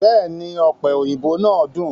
Bẹ́èni, ọ̀pẹ òyìnbó náà dùn.